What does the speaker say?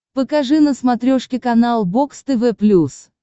покажи на смотрешке канал бокс тв плюс